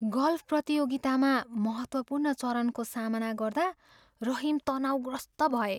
Golf प्रतियोगितामा महत्त्वपूर्ण चरणको सामना गर्दा रहिम तनावग्रस्त भए।